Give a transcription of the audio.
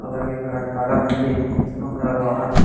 అలాగే ఇక్కడ చాలామంది వస్తుంటారు ఆహారం--